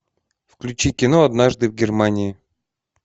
включи кино однажды в германии